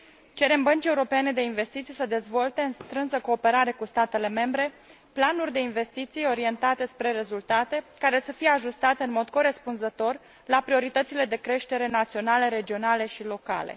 Cerem Băncii Europene de Investiții să dezvolte, în strânsă cooperare cu statele membre, planuri de investiții orientate spre rezultate, care să fie ajustate în mod corespunzător la prioritățile de creștere naționale, regionale și locale.